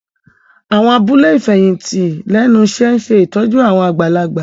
Àwọn abúlé ìfẹ̀yìntì lẹ́nu iṣẹ́ ń ṣe ìtọ́jú àwọn àgbàlagbà